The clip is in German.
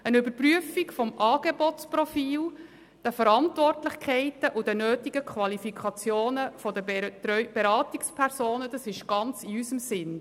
Eine Überprüfung des Angebotsprofils der Verantwortlichkeiten und der nötigen Qualifikationen der Beratungspersonen ist ganz in unserem Sinne.